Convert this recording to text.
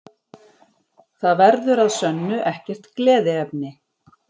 Það verður að sönnu ekkert gleðiefni